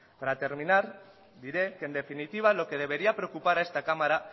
para terminar diré que en definitiva lo que debería preocupar a esta cámara